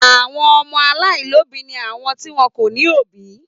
Àwọn ọmọ aláìlóòbí ni àwọn tí wọn kò ní òbí.